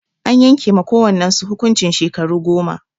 An yanke ma kowannan su hukuncin shekaru goma.